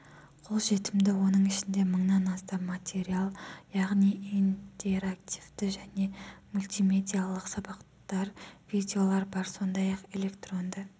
қолжетімді оның ішінде мыңнан астам материал яғни интерактивті және мультимедиалық сабақтар видеолар бар сондай-ақ электронды